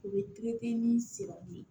U bɛ pikiri kɛ ni ye